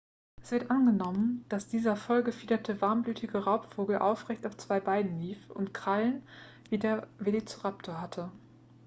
es wird angenommen dass dieser voll gefiederte warmblütige raubvogel aufrecht auf zwei beinen lief und krallen wie der velociraptor hatte